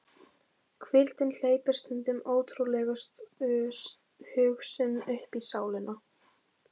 Hvíldin hleypir stundum ótrúlegustu hugsunum uppí sálina.